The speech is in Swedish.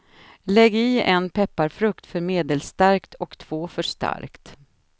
Lägg i en pepparfrukt för medelstarkt och två för starkt.